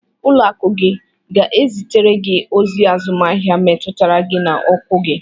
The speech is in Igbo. Ụlọakụ gị ga-ezitere gị ozi azụmahịa metụtara gị na ọkụ gị.